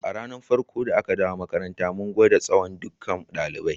A ranan farko da aka dawo makaranta, mun gwada tsawon ɗukkan dalibai.